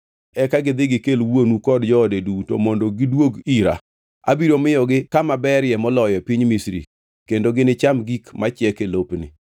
eka gidhi gikel wuonu kod joode duto mondo gidwog ira. Abiro miyogi kama ber moloyo e piny Misri kendo ginicham gik machiek e lopni.”